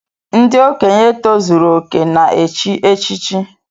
Ndị okenye tozuru okè na echi echichi